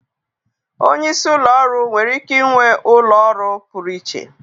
Onye isi ụlọ ọrụ nwere ike ịnwe ụlọ ọrụ pụrụ iche.